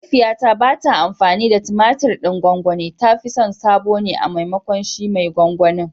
Mahaifiyata ba ta amfani da tumatir gwangwani, ta fi son sabo ne a maimakon shi mai gwangwanin.